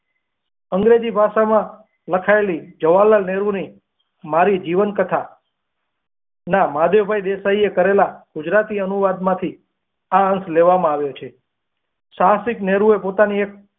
ભાષા માં લખાયેલી જવાહરલાલ નહેરુ ની મારી જીવન કથા ના માધવ ભાઈ દેસાઈ એ કરેલા ગુજરાતી અનુવાદ માંથી આ અંશ લેવામાં આવ્યો છે સાહસિક નહેરુ એ પોતાના માંથી એક.